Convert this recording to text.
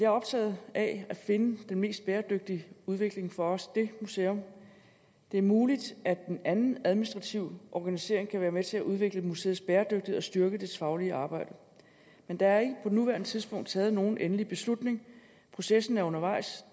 optaget af at finde den mest bæredygtige udvikling for også det museum det er muligt at en anden administrativ organisering kan være med til at udvikle museets bæredygtighed og styrke dets faglige arbejde men der er ikke på nuværende tidspunkt taget nogen endelig beslutning processen er undervejs